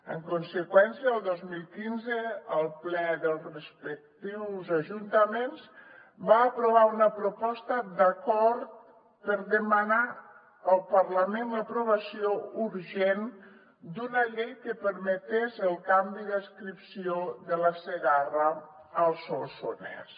en conseqüència el dos mil quinze el ple dels respectius ajuntaments va aprovar una proposta d’acord per demanar al parlament l’aprovació urgent d’una llei que permetés el canvi d’adscripció de la segarra al solsonès